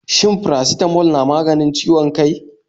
Shin Faracitamol na maganin ciwon kai?